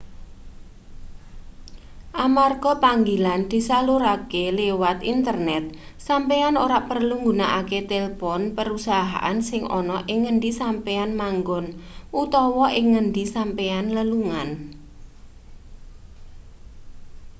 amarga panggilan disalurake liwat internet sampeyan ora perlu nggunakake telpon perusahaan sing ana ing ngendi sampeyan manggon utawa ing ngendi sampeyan lelungan